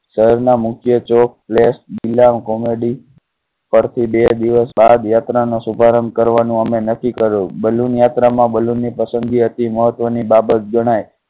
શહેરના મુખ્ય ચોક પ્લે કૉમેડી પર થી બે દિવસ બાદ યાત્રા નો શુભારંભ કરવા નું અમે નક્કી કરો. balloon યાત્રા માં balloon ની પસંદગી હતી. મહત્વની બાબત જણાય.